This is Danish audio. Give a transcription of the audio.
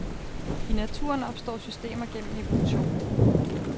I naturen opstår systemer gennem evolution.